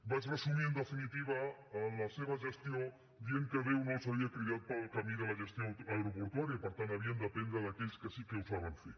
vaig resumir en definitiva la seva gestió dient que déu no els havia cridat pel camí de la gestió aeroportuària per tant haurien d’aprendre d’aquells que sí que ho saben fer